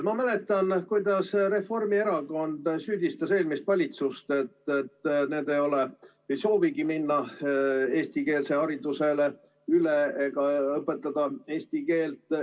Ma mäletan, kuidas Reformierakond süüdistas eelmist valitsust, et see ei soovigi minna eestikeelsele haridusele üle ega õpetada eesti keelt.